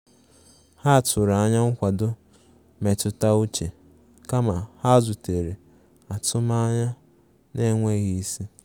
Ha tụrụ anya nkwado mmetụta uche kama ha zutere atụmanya na-enweghị isi.